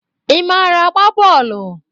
Ị mara agba bọọlụ?